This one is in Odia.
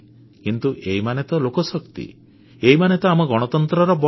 କିନ୍ତୁ ଏଇମାନେ ତ ଲୋକଶକ୍ତି ଏଇମାନେ ତ ଆମ ଗଣତନ୍ତ୍ରର ବଳ